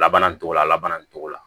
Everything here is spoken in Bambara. Laban nin cogo la laban nin cogo la